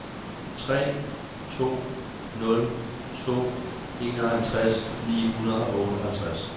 tre to nul to enoghalvtreds ni hundrede og otteoghalvtreds